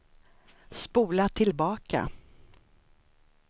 spola tillbaka